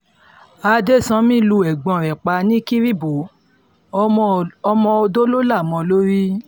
adẹ́sànmi lu ẹ̀gbọ́n rẹ̀ pa ní kiribo ọmọ-ọ̀dọ̀ ló là mọ́ ọn lórí